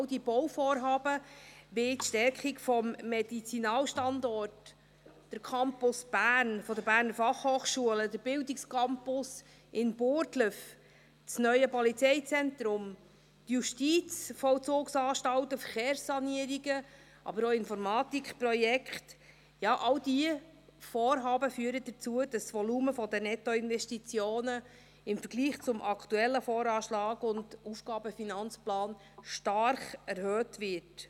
All diese Bauvorhaben wie die Stärkung des Medizinalstandorts, der Campus Bern der Berner Fachhochschule (BFH), der Bildungscampus in Burgdorf, das neue Polizeizentrum, die Justizvollzugsanstalten, die Verkehrssanierungen, aber auch Informatikprojekte – ja, alle diese Vorhaben führen dazu, dass das Volumen der Nettoinvestitionen im Vergleich zum aktuellen VA und AFP stark erhöht wird.